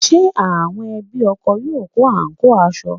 Ṣé àwọn ẹbí ọkọ yóò kó àǹkóò aṣọ?